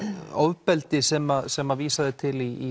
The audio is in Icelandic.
ofbeldi sem sem vísað er til í